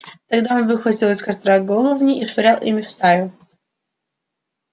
тогда он выхватывал из костра головни и швырял ими в стаю